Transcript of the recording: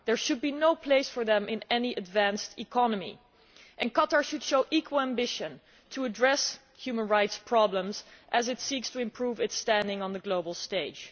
There should be no place for them in any advanced economy and Qatar should show equal ambition to address human rights problems as it seeks to improve its standing on the global stage.